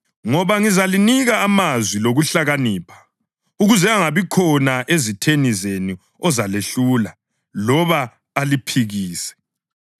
Ngoba ngizalinika amazwi lokuhlakanipha ukuze angabikhona ezitheni zenu ozalehlula loba aliphikise.